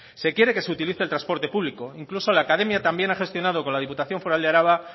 se quiere que se utilice el transporte público incluso la academia también ha gestionado con la diputación foral de álava